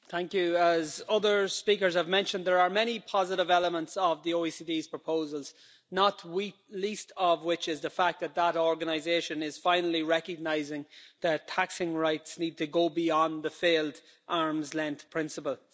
Madam President, as other speakers have mentioned, there are many positive elements of the OECD's proposals, not least of which is the fact that that organisation is finally recognising that taxing rights need to go beyond the failed arm's length' principle.